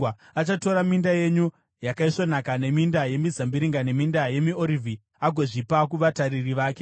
Achatora minda yenyu yakaisvonaka neminda yemizambiringa neminda yemiorivhi agozvipa kuvatariri vake.